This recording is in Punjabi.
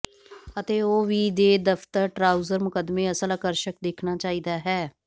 ਅਤੇ ਉਹ ਵੀ ਦੇ ਦਫ਼ਤਰ ਟਰਾਊਜ਼ਰ ਮੁਕੱਦਮੇ ਅਸਲ ਆਕਰਸ਼ਕ ਦੇਖਣਾ ਚਾਹੀਦਾ ਹੈ